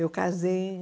Eu casei em